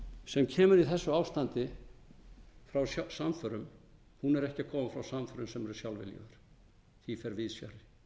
sem kemur í þessu ástandi frá samförum er ekki að koma frá samförum sem eru sjálfviljugum því fer víðs fjarri